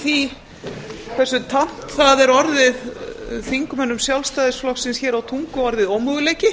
því hversu tamt það er orðið þingmönnum sjálfstæðisflokksins hér á tungu orðið ómöguleiki